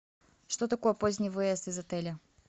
что такое поздний выезд из отеля